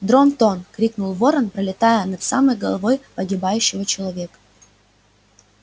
дрон-тон крикнул ворон пролетая над самой головой погибающего человека